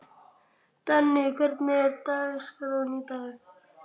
Danni, hvernig er dagskráin í dag?